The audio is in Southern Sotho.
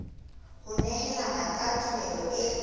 ho nehelana ka tumello e